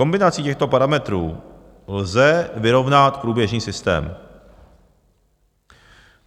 Kombinací těchto parametrů lze vyrovnat průběžný systém.